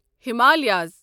Himalayas